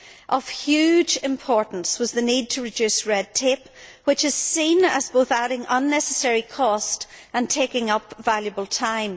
Of huge importance was the need to reduce red tape, which is seen as both adding unnecessary cost and taking up valuable time.